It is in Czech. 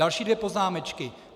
Další dvě poznámečky.